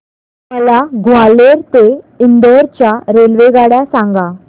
मला ग्वाल्हेर ते इंदूर च्या रेल्वेगाड्या सांगा